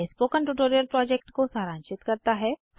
यह spoken tutorial project को सारांशित करता है